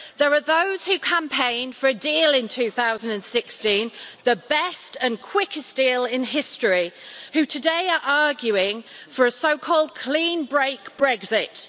There are those who campaigned for a deal in 2016 the best and quickest deal in history who today are arguing for a so called clean break Brexit.